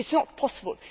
It is not possible.